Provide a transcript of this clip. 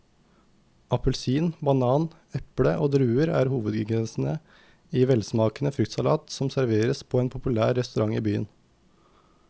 Appelsin, banan, eple og druer er hovedingredienser i en velsmakende fruktsalat som serveres på en populær restaurant i byen.